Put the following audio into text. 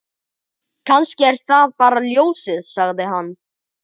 Kannski er það bara ljósið, sagði hann.